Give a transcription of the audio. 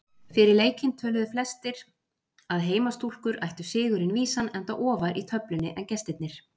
Fyrir leikinn töluðu flestir að heimastúlkur ættu sigurinn vísan enda ofar í töflunni en gestirnir.